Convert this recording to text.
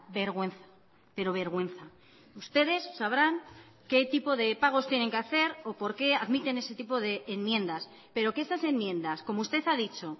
vergüenza pero vergüenza ustedes sabrán qué tipo de pagos tienen que hacer o porque admiten ese tipo de enmiendas pero que esas enmiendas como usted ha dicho